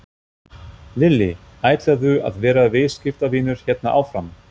Lillý: Ætlarðu að vera viðskiptavinur hérna áfram?